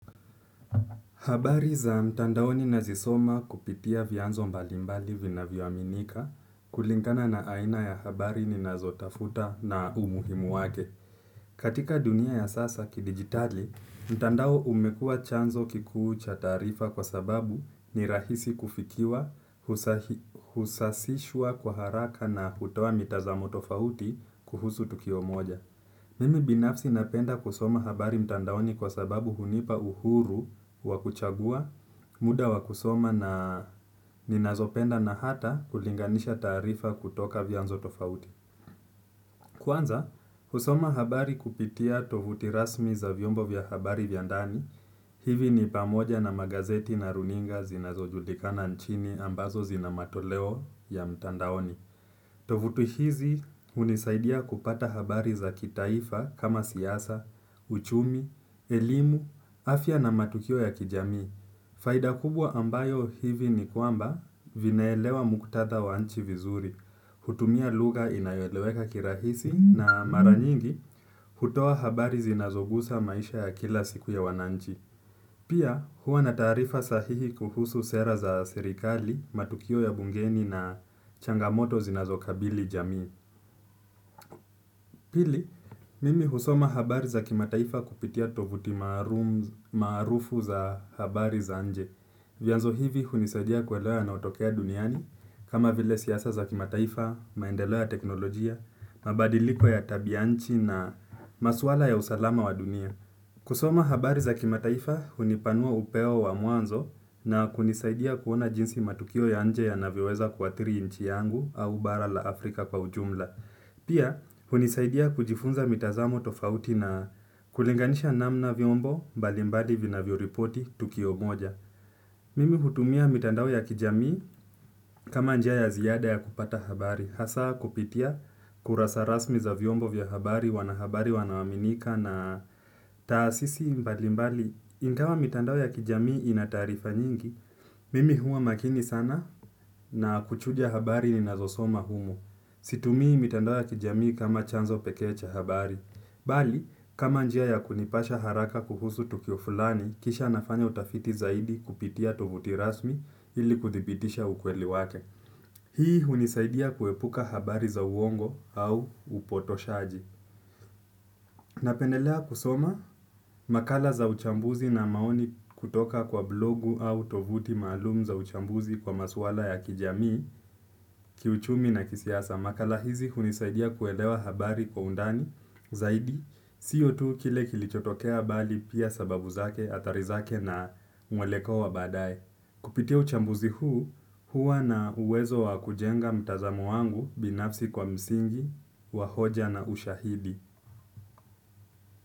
Habari za mtandaoni nazisoma kupitia vyanzo mbalimbali vinavyoaminika kulingana na aina ya habari ninazotafuta na umuhimu wake. Katika dunia ya sasa kidigitali, mtandao umekua chanzo kikuu cha taarifa kwa sababu ni rahisi kufikiwa, husasishwa kwa haraka na hutoa mitazamo tofauti kuhusu tukio moja. Mimi binafsi napenda kusoma habari mtandaoni kwa sababu hunipa uhuru wa kuchagua muda wa kusoma na ninazopenda na hata kulinganisha taarifa kutoka vyanzo tofauti. Kwanza, kusoma habari kupitia tovuti rasmi za vyombo vya habari vya ndani. Hivi ni pamoja na magazeti na runinga zinazo julikana nchini ambazo zina matoleo ya mtandaoni. Tovuti hizi hunisaidia kupata habari za kitaifa kama siasa, uchumi, elimu, afya na matukio ya kijamii. Faida kubwa ambayo hivi ni kwamba vinaelewa muktadha wa nchi vizuri. Hutumia lugha inayoeleweka kirahisi na mara nyingi hutoa habari zinazogusa maisha ya kila siku ya wananchi. Pia huwa na taarifa sahihi kuhusu sera za serikali, matukio ya bungeni na changamoto zinazokabili jamii. Pili, mimi husoma habari za kimataifa kupitia tovuti maarufu za habari za nje. Vyanzo hivi hunisadia kuelewa yanayotokea duniani, kama vile siasa za kimataifa, maendeleo ya teknolojia, mabadiliko ya tabianchi na maswala ya usalama wa dunia. Kusoma habari za kimataifa hunipanua upeo wa mwanzo na kunisaidia kuona jinsi matukio ya nje yanavyoweza kuathiri nchi yangu au bara la Afrika kwa ujumla. Pia, hunisaidia kujifunza mitazamo tofauti na kulinganisha namna vyombo mbalimbadi vinavyoripoti tukio moja. Mimi hutumia mitandao ya kijamii kama njia ya ziada ya kupata habari. Hasa kupitia kurasa rasmi za vyombo vya habari, wanahabari wanaoaminika na taasisi mbalimbali ingawa mitandao ya kijamii inataarifa nyingi mimi huwa makini sana na kuchuja habari ninazosoma humo. Situmii mitandao ya kijamii kama chanzo pekee cha habari. Bali, kama njia ya kunipasha haraka kuhusu tukio fulani, kisha nafanya utafiti zaidi kupitia tovuti rasmi ili kuthibitisha ukweli wake. Hii hunisaidia kuepuka habari za uongo au upotoshaji. Napendelea kusoma makala za uchambuzi na maoni kutoka kwa blogu au tovuti malum za uchambuzi kwa maswala ya kijamii, kiuchumi na kisiasa. Makala hizi hunisaidia kuelewa habari kwa undani zaidi. Siyo tu kile kilichotokea bali pia sababu zake athari zake na mwelekeo wa baadae. Kupitia uchambuzi huu hua na uwezo wa kujenga mtazamo wangu binafsi kwa msingi wa hoja na ushahidi.